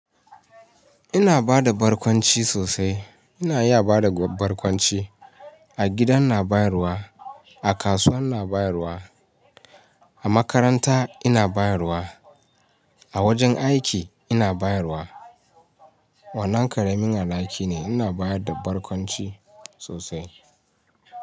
Ina bada barkwanci sosai. Ina iya bada barkwanci. A gida ina bayarwa, a kasuwa ina bayarwa, a makaranta ina bayarwa, a wajen aiki ina bayarwa. Wannan ƙaramin alhaki ne. Ina bayar da barkwanci sosai.